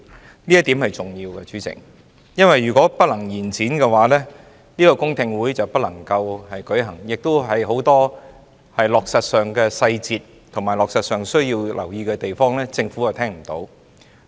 主席，這點是重要的，因為如果不能延展修訂期限的話，公聽會就不能舉行，政府亦無法就落實上的細節及需要留意的地方，聽取更多意見。